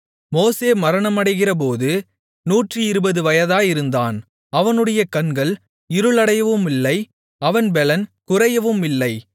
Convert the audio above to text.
மோசே மரணமடைகிறபோது 120 வயதாயிருந்தான் அவனுடைய கண்கள் இருளடையவுமில்லை அவன் பெலன் குறையவுமில்லை